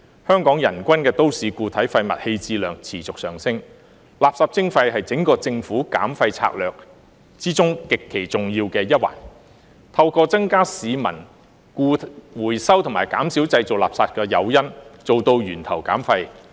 香港人均都市固體廢物棄置量持續上升，垃圾徵費是政府整項減廢策略中極其重要的一環，透過增加市民回收和減少製造垃圾的誘因，做到源頭減廢。